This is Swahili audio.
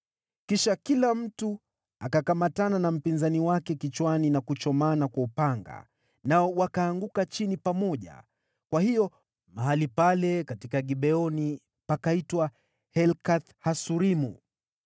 Kisha kila mtu akakamatana na mpinzani wake kichwani na kuchomana kwa upanga, nao wakaanguka chini pamoja. Kwa hiyo mahali pale katika Gibeoni pakaitwa Helkath-Hasurimu.